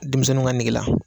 Denmisɛnw ka negela